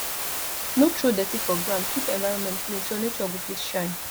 no throw dirty for ground keep environment clean so nature go fit shine